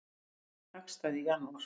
Vöruskipti hagstæð í janúar